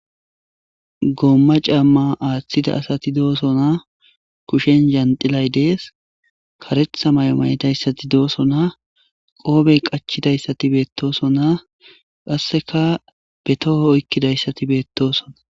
goomma camma aaththida asati doosona kushen zandilay dees karetha maymay7idayssati doosona qoobey qachidayssati beettosona qasseka be toho oykkidayssati beettosona